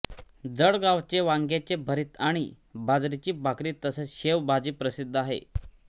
जळगावचे वांग्याचे भरीत आणि बाजरीची भाकरी तसेच शेव भाजी प्रसिद्ध आहे